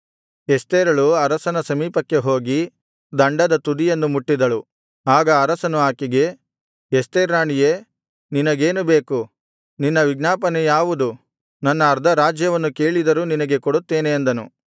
ಎಸ್ತೇರಳು ಅರಸನ ಸಮೀಪಕ್ಕೆ ಹೋಗಿ ದಂಡದ ತುದಿಯನ್ನು ಮುಟ್ಟಿದಳು ಆಗ ಅರಸನು ಆಕೆಗೆ ಎಸ್ತೇರ್ ರಾಣಿಯೇ ನಿನಗೇನು ಬೇಕು ನಿನ್ನ ವಿಜ್ಞಾಪನೆ ಯಾವುದು ನನ್ನ ಅರ್ಧರಾಜ್ಯವನ್ನು ಕೇಳಿದರೂ ನಿನಗೆ ಕೊಡುತ್ತೇನೆ ಅಂದನು